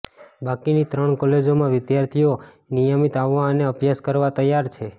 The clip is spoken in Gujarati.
બાકીની ત્રણ કોલેજોમાં વિદ્યાર્થીઓ નિયમીત આવવા અને અભ્યાસ કરવા તૈયાર છે